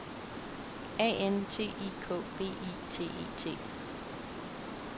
A N T I K V I T E T